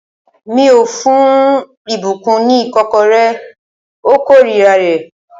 Mi ò ní fún ìbùkún ní ìkọ́kọrẹ́. Ó kórira rẹ̀